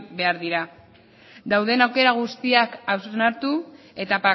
behar dira dauden aukera guztiak hausnartu eta